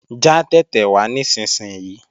Já tẹ̀tẹ̀ wá nísinsìnyí!